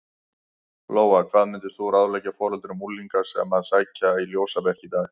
Lóa: Hvað myndir þú ráðleggja foreldrum unglinga sem að sækja í ljósabekki í dag?